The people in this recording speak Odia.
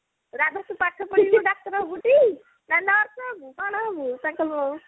ରାଧାତୁ ପାଠ ପଢିକି ଡାକ୍ତର ହବୁ ଟି ନା ନାଇଁ nurse ହବୁ ନା କଣ ହବୁ ତାକୁ